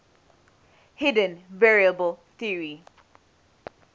hidden variable theory